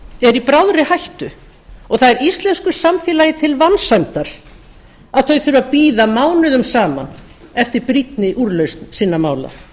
eru í bráðri hættu og það er íslensku samfélagi til vansæmdar að þau þurfi að bíða mánuðum saman eftir brýnni úrlausn sinna mála